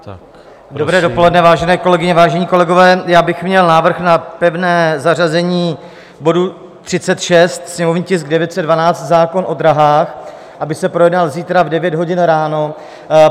Dobré dopoledne, vážené kolegyně, vážení kolegové, já bych měl návrh na pevné zařazení bodu 36, sněmovní tisk 912, zákon o drahách, aby se projednal zítra v 9 hodin ráno.